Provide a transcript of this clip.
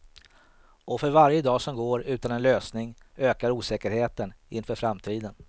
Och för varje dag som går utan en lösning ökar osäkerheten inför framtiden.